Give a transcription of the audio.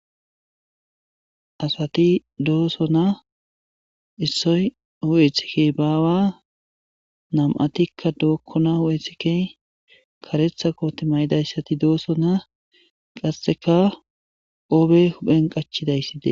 asati doossona issoy hu'e ithike baawa nam'atikka dookkona hu'e ithike karetha kooti mayidayssati doosonaa qasseka qoobe huphen qachidayssi des